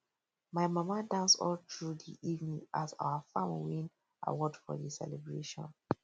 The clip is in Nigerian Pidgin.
my mama dance all through di evening as our farm win award for di celebration